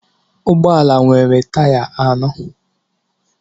Ụgbọ ala nwere taya anọ